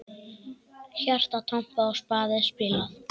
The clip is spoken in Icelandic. Hjarta trompað og spaða spilað.